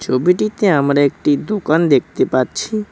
ছবিটিতে আমরা একটি দোকান দেখতে পাচ্ছি।